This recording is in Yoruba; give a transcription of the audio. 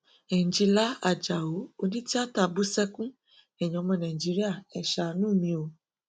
ẹnjilá ajáò onítìáta bú sẹkùn ẹyìn ọmọ nàìjíríà ẹ ṣàánú mi o